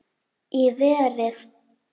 Í verið